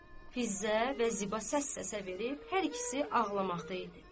Fizzə və Ziba səs-səsə verib hər ikisi ağlamaqda idi.